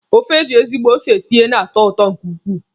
Ofe eji ezigbo ose sie na-atọ ụtọ nke ukwuu.